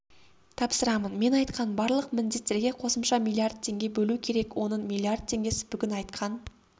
тапсырамын мен айтқан барлық міндеттерге қосымша миллиард теңге бөлу керек оның миллиард теңгесі бүгін айтқан